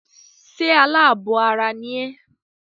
Ṣé alábọ̀ ara ni ẹ́?